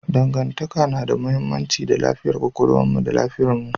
Dangantaka na da mahimmanci ga lafiyar kwakwalwarmu da lafiyarmu.